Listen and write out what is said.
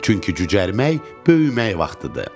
Çünki cücərmək böyümək vaxtıdır.